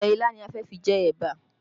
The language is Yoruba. Ọbẹ̀ ilá ni a fi jẹ ẹ̀bà